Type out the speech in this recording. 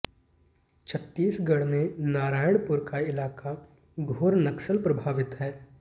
छत्तीसगढ़ में नारायणपुर का इलाका घोर नक्सल प्रभावित है